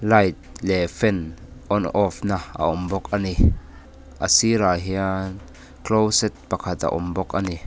light leh fan on off na a awm bawk a ni a sirah hian closest pakhat a awm bawk a ni.